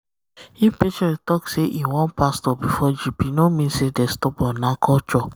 um if patient talk say um e um want pastor before drip e no mean say dem stubborn — na culture.